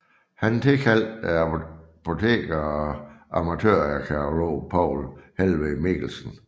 Han tilkaldte apoteker og amatørarkæolog Poul Helweg Mikkelsen